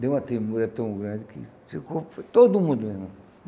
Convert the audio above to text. Deu uma tremula tão grande que ficou foi todo mundo, meu irmão.